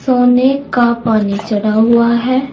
सोने का पानी चढ़ा हुआ है।